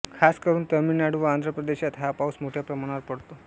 खासकरुन तमिळनाडू व आंध्र प्रदेशात हा पाउस मोठ्या प्रमाणावर पडतो